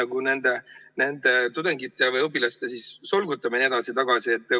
Kas see ei ole nende õpilaste solgutamine edasi-tagasi?